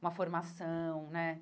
uma formação, né?